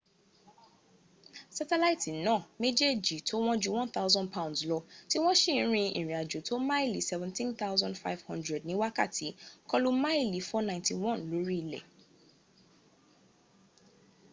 sátẹ̀láìtì náà méjèjì tó wọ́n ju 1000 pounds lọ, tí wọ́n s;i rin ìrìn àjò tó tó máàlì 17,500 ní wákàtí, kọlu máàlì 491 lórí ilẹ̀